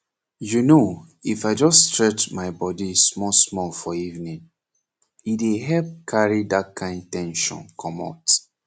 you know if i just stretch my body smallsmall for evening e dey help carry that kind ten sion commot